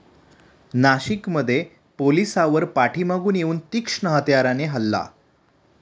नाशिकमध्ये पोलिसावर पाठीमागून येऊन तीक्ष्ण हत्याराने हल्ला